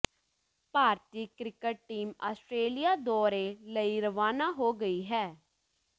ਭਾਰਤੀ cricket team Australia ਦੌਰੇ ਲਈ ਰਵਾਨਾ ਹੋ ਗਈ ਹੈ